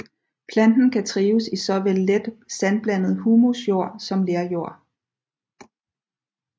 Planten kan trives i såvel let sandblandet humusjord som lerjord